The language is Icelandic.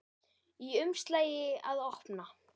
Í umslagi að opna.